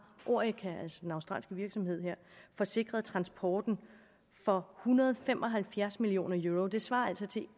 orica altså den australske virksomhed her forsikret transporten for hundrede og fem og halvfjerds million euro det svarer altså til